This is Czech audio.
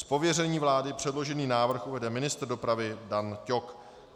Z pověření vlády předložený návrh uvede ministr dopravy Dan Ťok.